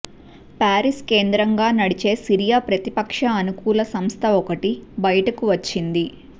Paris కేంద్రంగా నడిచే Syria ప్రతిపక్ష అనుకూల సంస్థ ఒకటి బయటికి వచ్చింది